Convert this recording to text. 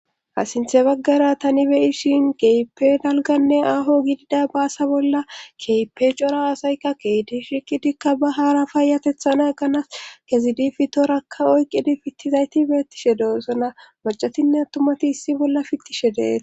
Asinthe baggara tani beyishin keype dalganne aho gidida baasa bolla keepe cora aasayka keeti shiqidikka ba haara payatethana ganas kezidi fi toorakka oyqidi fittizayti beettishe doossana macatinne attumati issi bolla fittishe deet.